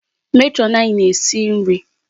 Matron anyị na-esi nri.